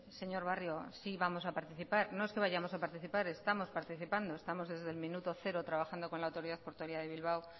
señor barrio sí vamos a participar no es que vayamos a participar estamos participando estamos desde el minuto cero trabajando con la autoridad portuaria de bilbao